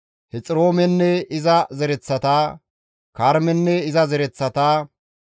Hexiroomenne iza zereththata, Karmenne iza zereththata.